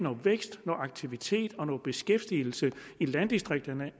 vækst aktivitet og beskæftigelse i landdistrikterne